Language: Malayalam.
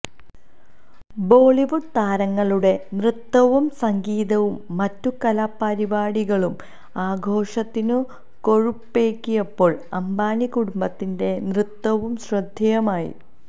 ബോളിവുഡ് താരങ്ങളുടെ നൃത്തവും സംഗീതവും മറ്റു കലാപരിപാടികളും ആഘോഷത്തിനു കൊഴുപ്പേകിയപ്പോൾ അംബാനി കുടുംബത്തിന്റെ നൃത്തവും ശ്രദ്ധേയമായി